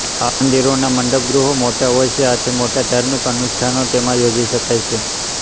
આ ંઅંદિરોના મંડપ ગૃહો મોટાં હોય છે આથી મોટા ધાર્મિક અનુષ્ઠાનો તેમાં યોજી શકાય છે